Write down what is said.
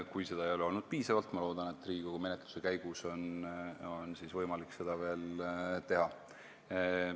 Kui seda ei ole olnud piisavalt, siis ma loodan, et Riigikogu menetluse käigus on võimalik seda veel arvestada.